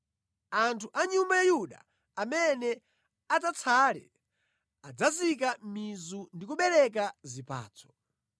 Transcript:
Anthu a nyumba ya Yuda amene adzatsale adzazika mizu ndi kubereka zipatso.